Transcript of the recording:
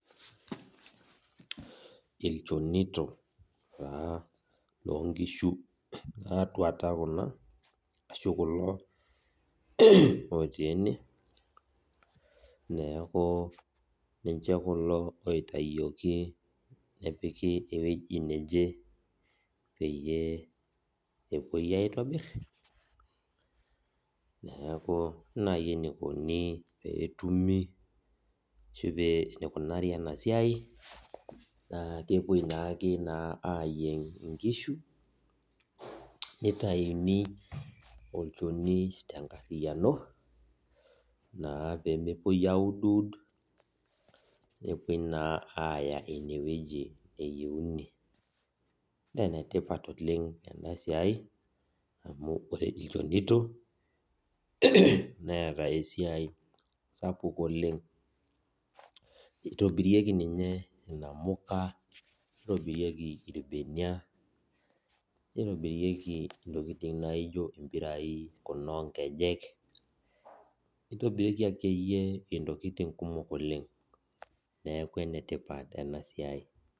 Ilchonito taa lonkishu natuata kuna, ashu kulo otii ene, neeku ninche kulo oitayioki nepiki ewueji neje peyie epuoi aitobir, neeku ore nai enikoni petumi ashu eneikunari enasiai, naa kepoi naake naa ayieng' inkishu nitayuni olchoni tenkarriyiano, naa pemepoi auduwud, nepoi naa aya inewueji neyieuni. Nenetipat oleng enasiai, amu ore ilchonito, neeta esiai sapuk oleng. Nitobirieki ninye inamuka, nitobirieki irbenia, nitobirieki intokiting impirai kuna onkejek, nitobirieki akeyie intokiting kumok oleng. Neeku enetipat enasiai.